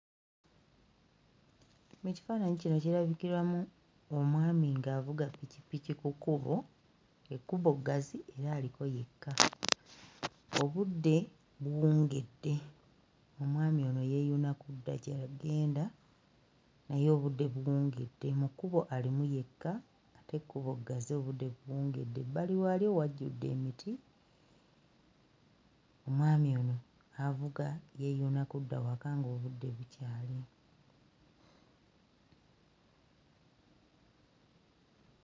Mu kifaananyi kino kirabikiramu omwami ng'avuga ppikippiki ku kkubo, ekkubo ggazi era aliko yekka. Obudde buwungedde, omwami ono yeeyuna kudda gy'agenda naye obudde buwungedde mu kkubo alimu yekka ete ekkubo ggazi obudde buwungedde, ebbali waalyo wajjudde emiti omwami ono avuga yeeyuna kudda waka ng'obudde bukyali.